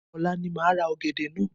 Ọ̀la ni máa ra ọ̀gẹ̀dẹ̀ naa